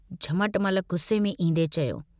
झमटमल गुस्से में ईन्दे चयो।